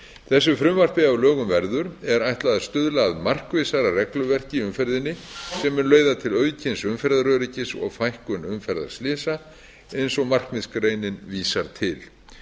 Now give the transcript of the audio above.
þessu frumvarpi ef að lögum verður er ætlað að stuðla að markvissara regluverki í umferðinni sem mun leiða til aukins umferðaröryggis og fækkun umferðarslysa eins og markmiðsgreinin vísar til